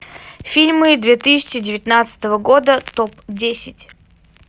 фильмы две тысячи девятнадцатого года топ десять